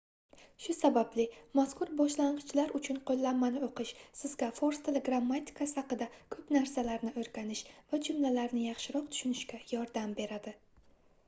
shu sababli mazkur boshlangʻichlar uchun qoʻllanmani oʻqish sizga fors tili grammatikasi haqida koʻp narsalarni oʻrganish va jumlalarni yaxshiroq tushunishga yordam beradi